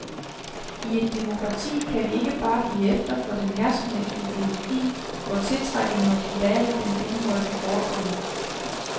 I et demokrati kan vi ikke bare give efter for den herskende ideologi, hvor tiltrækkende og troværdig den end måtte forekomme.